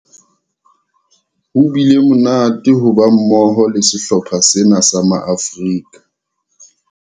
Ho bile monate ho ba mmoho le sehlopha sena sa Maafrika